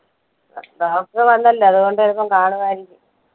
വന്നല്ലോ അത്കൊണ്ട് ചിലപ്പോ കാണുവായിരിക്കും